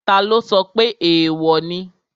Taló sọ pé èèwò ni?